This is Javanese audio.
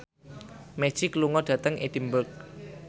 Magic lunga dhateng Edinburgh